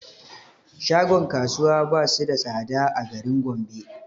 Shagon kasuwa basu da tsada a garin gombe